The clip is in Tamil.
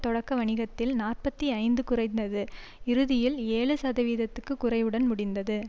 தொடக்க வணிகத்தில் நாற்பத்தி ஐந்து குறைந்தது இறுதியில் ஏழு சதவிகிதக்கு குறைவுடன் முடிந்தது